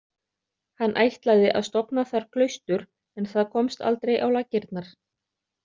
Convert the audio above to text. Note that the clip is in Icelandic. Hann ætlaði að stofna þar klaustur en það komst aldrei á laggirnar.